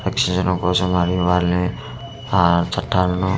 ఆ చటాల ను .